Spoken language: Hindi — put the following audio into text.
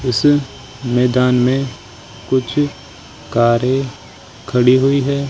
इस मैदान में कुछ कारें खड़ी हुई है।